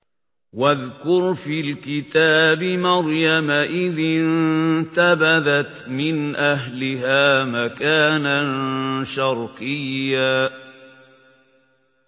وَاذْكُرْ فِي الْكِتَابِ مَرْيَمَ إِذِ انتَبَذَتْ مِنْ أَهْلِهَا مَكَانًا شَرْقِيًّا